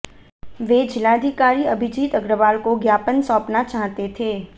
वे जिलाधिकारी अभिजीत अग्रवाल को ज्ञापन सौंपना चाहते थे